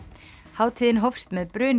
hátíðin hófst með